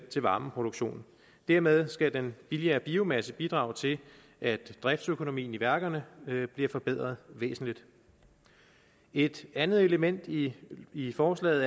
til varmeproduktion dermed skal den billigere biomasse bidrage til at driftsøkonomien i værkerne bliver forbedret væsentligt et andet element i i forslaget